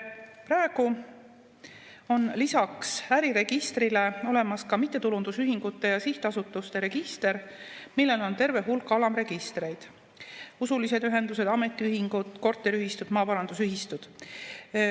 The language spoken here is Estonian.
Praegu on lisaks äriregistrile olemas ka mittetulundusühingute ja sihtasutuste register, millel on terve hulk alamregistreid: usulised ühendused, ametiühingud, korteriühistud, maaparandusühistud.